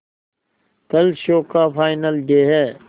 कल शो का final day है